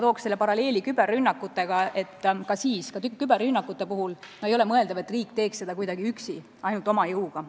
Tooksin paralleeli küberrünnakutega: ka küberrünnakute puhul ei ole mõeldav, et riik suudaks neid ära hoida üksi, ainult oma jõuga.